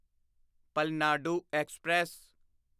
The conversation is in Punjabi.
ਪਲਨਾਡੂ ਐਕਸਪ੍ਰੈਸ